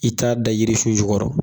I t'a da yirisun jukɔrɔ